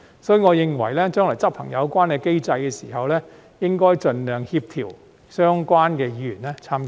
所以，我認為將來執行有關機制的時候，應該盡量協調相關的議員參加。